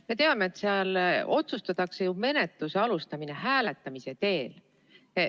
Me teame, et seal otsustatakse ju menetluse alustamine hääletamise teel.